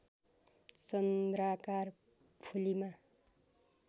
चन्द्राकार फुलीमा